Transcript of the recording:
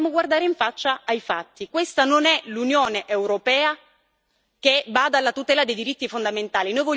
Dobbiamo guardare in faccia ai fatti questa non è l'Unione europea che bada alla tutela dei diritti fondamentali.